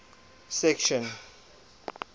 section